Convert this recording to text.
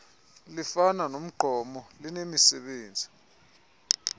lifana nomgqomo linemisebenzi